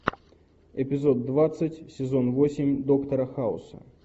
эпизод двадцать сезон восемь доктора хауса